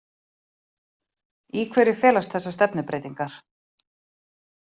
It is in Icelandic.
Í hverju felast þessar stefnubreytingar